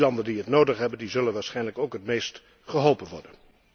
Die landen die dat nodig hebben, zullen waarschijnlijk ook het meest geholpen worden.